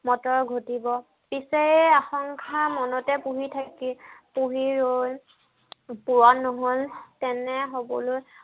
Motor ঘটিব। পিছে সেই আকাংক্ষা মনত পুহি থাকি পুহি ৰল। পূৰণ নহল। তেনে হবলৈ